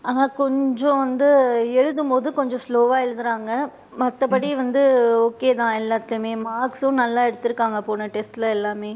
ஆனா, கொஞ்சம் வந்து எழுதும் போது கொஞ்சம் slow வா எழுதுறாங்க மத்தபடி வந்து okay தான் எல்லதுளையுமே marks சும் நல்லா எடுத்து இருக்காங்க போன test ல எல்லாமே,